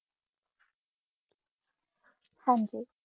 ਹਨ ਜੀ